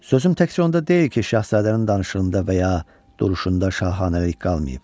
Sözüm təkcə onda deyil ki, şahzadənin danışığında və ya duruşunda şahanəlik qalmayıb.